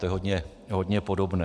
To je hodně podobné.